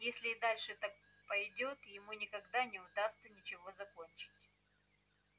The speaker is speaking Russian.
если и дальше так пойдёт ему никогда не удастся ничего закончить